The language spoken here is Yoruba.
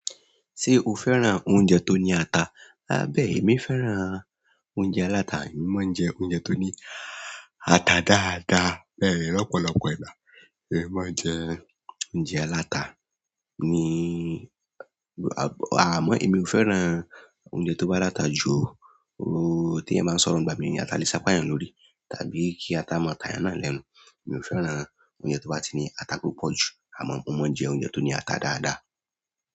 Ṣé o fẹ́ràn oúnjẹ tó ní ata? A bẹ́ẹ̀, èmi fẹ́ràn oúnjẹ aláta, èmi máa ń jẹ oúnjẹ tó ní ata dáadáa bẹ́ẹ̀ lọ́pọ̀lọpọ̀ ìgbà. Èmi máa ń jẹ oúnjẹ aláta ní àmọ́ èmi ò fẹ́ràn oúnjẹ tó bá láta jù. Ohun tí ẹ máa ń sọ̀rọ̀ ń bá mi ní ata léṣẹ́ páyàn lórí, tàbí kí ata máa tayan náà lẹ́nu. Èmi ò fẹ́ràn oúnjẹ tó bá ti ní ata tó pọ̀jù àmọ́ mo máa ń jẹ oúnjẹ tó ní ata dáadáa.